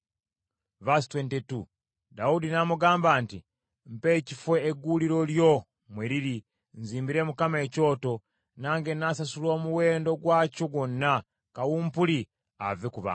Dawudi n’amugamba nti, “Mpa ekifo egguuliro lyo mwe liri, nzimbire Mukama ekyoto, nange n’asasula omuwendo gwakyo gwonna, kawumpuli ave ku bantu.”